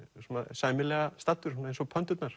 sæmilega staddur svona eins og